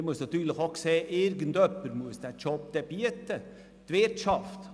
Man muss natürlich auch sehen, dass irgendjemand diesen Job dann anbieten muss.